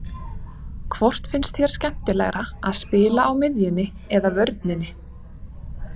Hvort finnst þér skemmtilegra að spila á miðjunni eða vörninni?